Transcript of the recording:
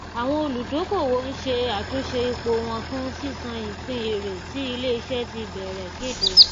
àwọn olùdókòwò ń ṣe àtúnṣe ipò wọn fún sísan ìpín èrè tí iléiṣẹ ti bẹrẹ kéde